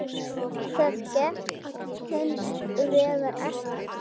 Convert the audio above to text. Það gekk hins vegar ekki.